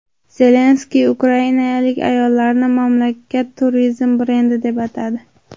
Zelenskiy ukrainalik ayollarni mamlakat turizm brendi deb atadi.